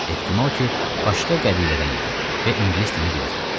Ehtimal ki, başqa qəbilədən idi və ingilis dilini bilirdi.